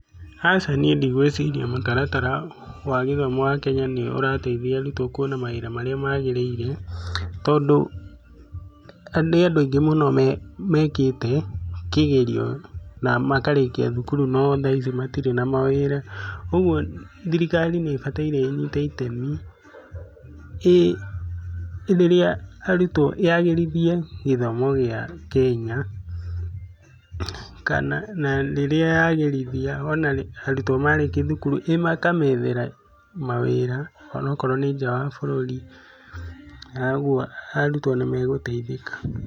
Aca niĩ ndigũĩciria mũtaratara wa gĩthomo wa Kenya nĩ ũrateithia arutwo kũona mawĩra marĩa magĩrĩire, tondũ nĩ andũ aingĩ mũno mekĩte kĩgerio na makarĩkia thukuru no thaa ici matirĩ na mawĩra. Ũguo thirikari nĩ ĩbataire ĩnyite itemi, rĩrĩa arutwo, yagĩrithie gĩthomo gĩa Kenya, kana na rĩrĩa yagĩrithia ona arutwo marĩkia thukuru ĩkamethera mawĩra onakorwo nĩ nja wa bũrũri ũguo arutwo nĩ megũteithĩka.